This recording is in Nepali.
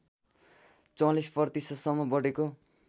४४ प्रतिशतसम्म बढेको